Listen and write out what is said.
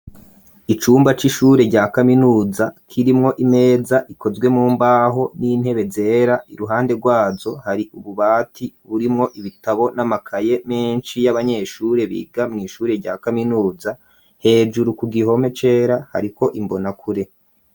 Icumba c'ishure rya kaminuza kirimwo imeza ikozwe mumbaho n'intebe zera iruhande rwajo hari ububati burimwo ibitabo n'amakaye menshi y'abanyeshure biga mu ishure rya kaminuza, hejuru ku gihome cera hariko imbona kure.